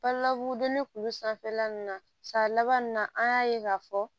Pa la u donni kulu sanfɛla ninnu na sa laban in na an y'a ye k'a fɔ